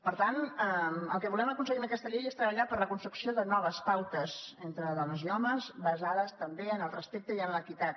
per tant el que volem aconseguir amb aquesta llei és treballar per la construcció de noves pautes entre do·nes i homes basades també en el respecte i en l’equi·tat